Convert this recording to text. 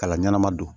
Kala ɲɛnama don